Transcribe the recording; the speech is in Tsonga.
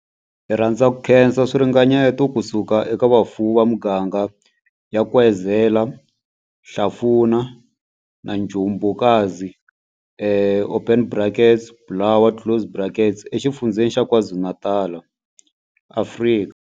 Hi rhandza ku khensa swiringanyeto ku suka eka vafuwi va miganga ya Nkwezela, Hlafuna na Njobokazi, open brackets, Bulwer, closed brackets, eXifundzheni xa KwaZulu-Natal, Afrika